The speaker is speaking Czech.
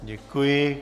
Děkuji.